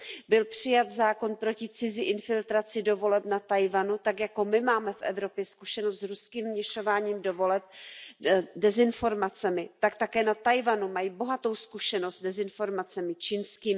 Byl přijat zákon proti cizí infiltraci do voleb na Tchaj wanu, tak jako my máme v Evropě zkušenost s ruským vměšováním do voleb dezinformacemi, tak také na Tchaj wanu mají bohatou zkušenost s dezinformacemi čínskými.